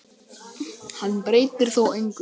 Hann breytti þó engu.